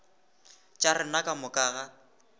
tša rena ka moka ga